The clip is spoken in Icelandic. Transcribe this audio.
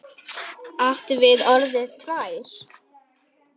Áttu nú orðið tvær?